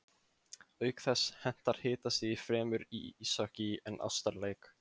Auk þess hentar hitastigið fremur íshokkí en ástarleik.